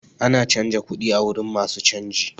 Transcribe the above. Ana canza kuɗi a wurin masu canji.